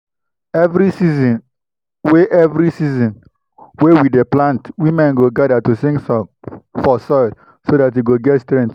every season wey every season wey we dey plant women go gather to sing song for soil so that e go get strength.